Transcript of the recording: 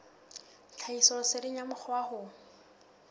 tlhahisoleseding ya mokgwa wa ho